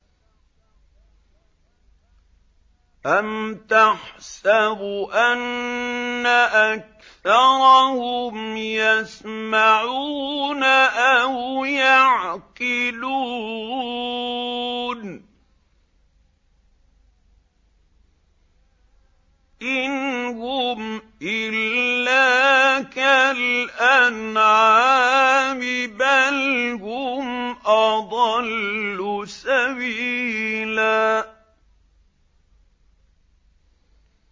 أَمْ تَحْسَبُ أَنَّ أَكْثَرَهُمْ يَسْمَعُونَ أَوْ يَعْقِلُونَ ۚ إِنْ هُمْ إِلَّا كَالْأَنْعَامِ ۖ بَلْ هُمْ أَضَلُّ سَبِيلًا